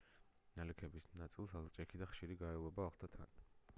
ნალექების ნაწილს ელჭექი და ხშირი გაელვება ახლდა თან